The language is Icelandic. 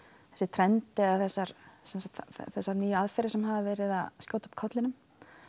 trend eða þessar þessar nýju aðferðir sem hafa verið að skjóta upp kollinum